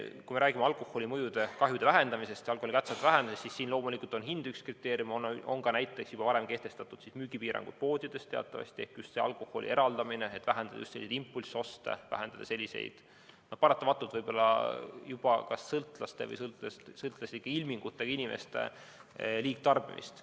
Kui me räägime alkoholikahjude ja alkoholi kättesaadavuse vähendamisest, siis siin loomulikult on üks kriteeriume hind ning ka näiteks juba varem kehtestatud müügipiirangud poodides ehk alkoholi eraldamine, et vähendada impulssoste ja võib-olla juba kas sõltlaste või sõltlaslike ilmingutega inimeste liigtarbimist.